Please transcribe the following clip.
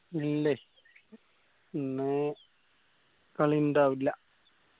ഇല്ലെ ഇന്ന് കളി ഇണ്ടാവില്ല